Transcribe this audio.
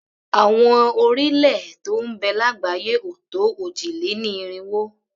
Àwọn orílẹ̀-èè tó ń bẹ lágbàáyé ò tó òjì-lé-ní-irinwó.